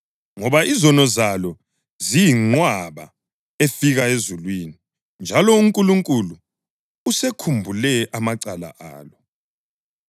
ngoba izono zalo ziyinqwaba efika ezulwini, njalo uNkulunkulu usekhumbule amacala alo.